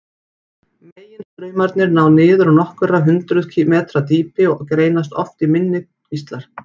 Meginstraumarnir ná niður á nokkur hundruð metra dýpi og greinast oft í minni kvíslar.